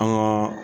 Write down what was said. An ŋaa